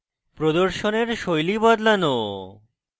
প্রদর্শনের style বদলানো